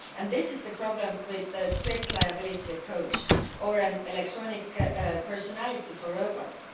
This is the problem with the strict liability approach or an electronic personality for robots.